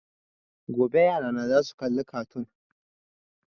Gobe yarana za su kalla kartoon